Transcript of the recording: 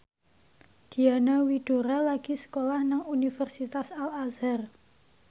Diana Widoera lagi sekolah nang Universitas Al Azhar